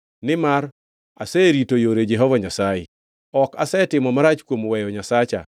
Nimar aserito yore Jehova Nyasaye; ok asetimo marach kuom weyo Nyasacha.